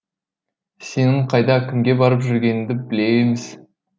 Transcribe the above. сенің қайда кімге барып жүргеніңді біле е міз